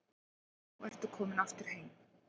Og nú ertu komin aftur heim?